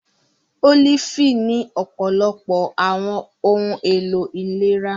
Olifi ni ọpọlọpọ awọn ohun elo ilera.